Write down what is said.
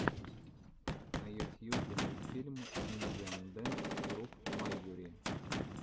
на ютьюбе мультфильм индиан дэнс груп майури